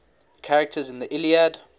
characters in the iliad